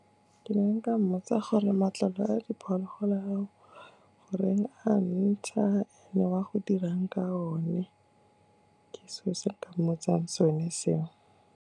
Ke ne nka mmotsa gore matlalo a diphologolo ao goreng a ntsha and-e wa go dirang ka one, ke selo se nka motsang sone seo.